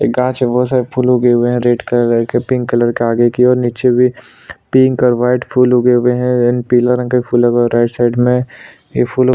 घास हैबहोत सरे फूल उगे हुए है रेड कलर का पिंक कलर का दिखयी और नीचे पिंक और वाइट फूल उगे हुए है पीला रंग का फूल ऊगा है राइट साइड में ये फूलो--